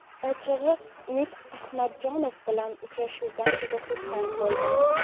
Ochig‘i Umid Ahmadjonov bilan uchrashuvdan juda xursand bo‘ldim.